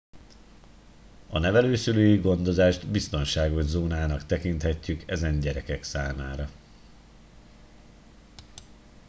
a nevelőszülői gondozást biztonságos zónának tekintjük ezen gyerekek számára